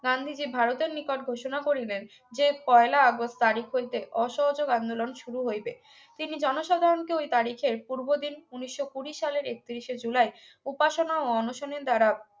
গান্ধীজী ভারতের নিকটে ঘোষণা করিলেন যে পহেলা আগস্ট তারিখ হইতে অসহযোগ আন্দোলন শুরু হইবে তিনি জনসাধারণকে ওই তারিখের পূর্ব দিন উনিশশো কুড়ি সালের একত্রিশে জুলাই উপাসনা ও অনশনের দ্বারা